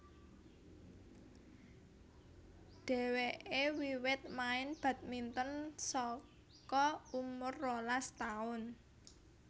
Dhèwèké wiwit main badminton saka umur rolas taun